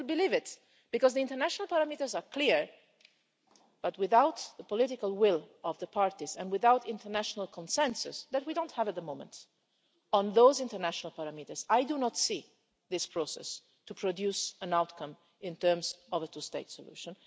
I still believe it because the international parameters are clear, but without the political will of the parties and without international consensus which we don't have at the moment on those international parameters, I do not see this process producing an outcome in terms of a two state solution.